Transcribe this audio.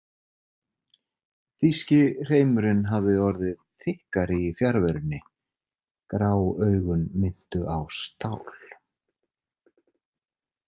Þýski hreimurinn hafði orðið þykkari í fjarverunni, grá augun minntu á stál.